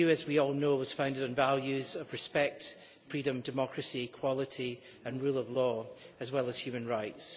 The EU, as we all know, was founded on values of respect, freedom, democracy, equality and rule of law as well as human rights.